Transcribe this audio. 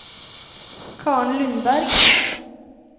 Karen Lundberg